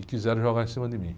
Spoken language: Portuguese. E quiseram jogar em cima de mim.